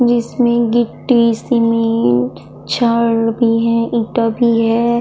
जिसमे गिट्टी सीमेंट छड़ भी है ईंटा भी है।